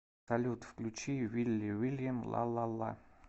салют включи вилли вильям ла ла ла